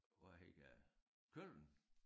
Var helt gal Køln